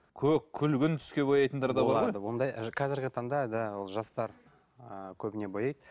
көк көлгін түске бояйтындар ондай қазіргі таңда да ол жастар ы көбіне бояиды